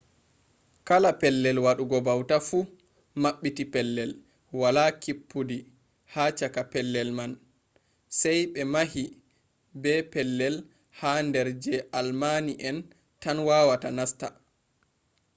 kala pellel waɗugo bauta fu maɓɓiti pellel wala kippudi ha chaka pellel man sai ɓe mahi be pellel ha nder je almaani en tan wawata nasta